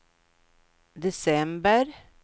december